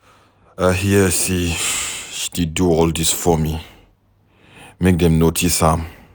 I hear say she dey do all dis forming make dem notice am.